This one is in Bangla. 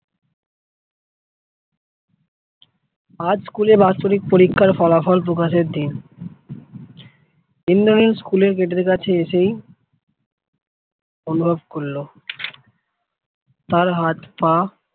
আজ খুলে বাৎসরিক পরীক্ষার ফলাফল প্রকাশের দিন ইন্দ্রনীল স্কুলের গেটের কাছে এসেই অনুভব করলো , তার হাথ পা